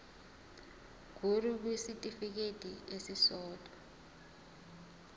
ngur kwisitifikedi esisodwa